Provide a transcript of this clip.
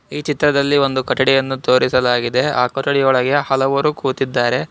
ಈ ಚಿತ್ರದಲ್ಲಿ ಒಂದು ಕೊಠಡಿಯನ್ನು ತೋರಿಸಲಾಗಿದೆ ಆ ಕೊಠಡಿ ಒಳಗೆ ಹಲವರು ಕೂತಿದ್ದಾರೆ.